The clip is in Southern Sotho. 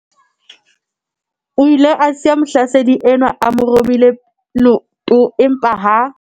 O ile a siya mohlasedi enwa a mo robile leoto empa ha